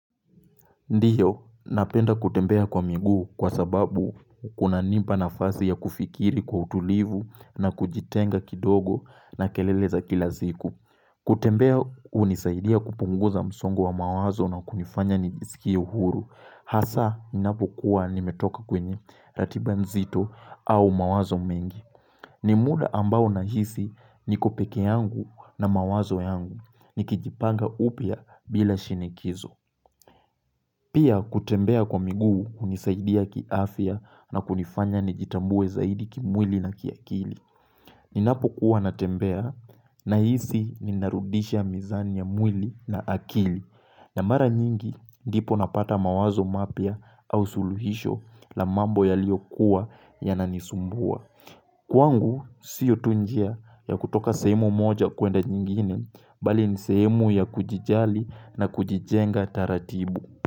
Ndiyo, napenda kutembea kwa miguu kwa sababu kuna nipa nafasi ya kufikiri kwa utulivu na kujitenga kidogo na kelele za kilasiku. Kutembea unisaidia kupunguza msongo wa mawazo na kunifanya nisikie uhuru. Hasa, ninapo kuwa nimetoka kwenye ratiba nzito au mawazo mengi. Nimuda ambao na hisi nikopeke yangu na mawazo yangu. Nikijipanga upya bila shinikizo. Pia kutembea kwa miguu kunisaidia ki afya na kunifanya nijitambue zaidi ki mwili na ki akili. Ninapo kuwa natembea na hisi ni narudisha mizani ya mwili na akili. Na mara nyingi ndipo napata mawazo mapya au suluhisho la mambo ya lio kuwa ya nanisumbua. Kwangu siyo tu njia ya kutoka sehemu moja kuenda nyingine bali ni sehemu ya kujijali na kujijenga taratibu.